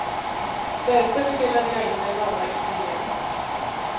Därför spelade jag in den långa intervjun.